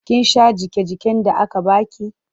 Kin sha jiƙe-jiƙen da aka ba ki?